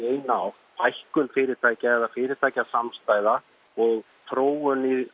eina átt fækkun fyrirtækja eða fyrirtækjasamstæða og þróun í